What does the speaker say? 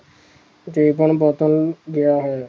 ਜੀਵਨ ਬਦਲ ਗਿਆ ਹੈ